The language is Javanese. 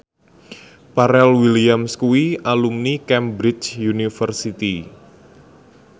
Pharrell Williams kuwi alumni Cambridge University